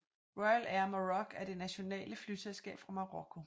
Royal Air Maroc er det nationale flyselskab fra Marokko